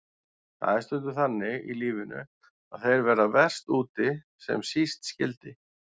Það er stundum þannig í lífinu að þeir verða verst úti sem síst skyldi.